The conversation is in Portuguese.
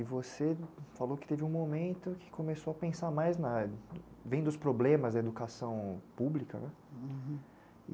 E você falou que teve um momento que começou a pensar mais na... Vendo os problemas na educação pública, né?